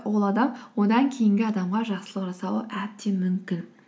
ол адам одан кейінгі адамға жақсылық жасауы әбден мүмкін